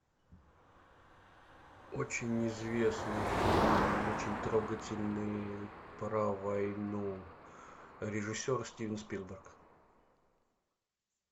очень известный фильм очень трогательный про войну режиссер стивен спилберг